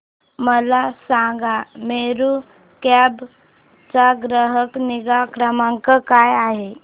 मला सांगा मेरू कॅब चा ग्राहक निगा क्रमांक काय आहे